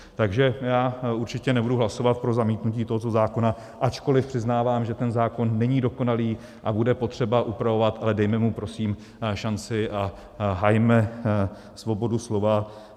Takže já určitě nebudu hlasovat pro zamítnutí tohoto zákona, ačkoliv přiznávám, že ten zákon není dokonalý a bude potřeba upravovat, ale dejme mu prosím šanci a hajme svobodu slova.